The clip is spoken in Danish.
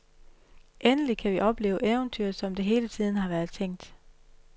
Endelig kan vi opleve eventyret, som det hele tiden har været tænkt.